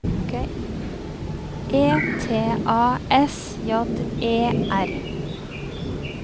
E T A S J E R